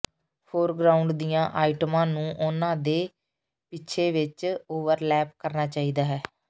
foreground ਦੀਆਂ ਆਈਟਮਾਂ ਨੂੰ ਉਹਨਾਂ ਦੇ ਪਿਛੇ ਵਿਚ ਓਵਰਲੈਪ ਕਰਨਾ ਚਾਹੀਦਾ ਹੈ